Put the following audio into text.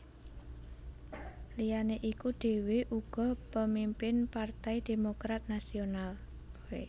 Liyané iku dhèwé uga pemimpin Partai Demokrat Nasional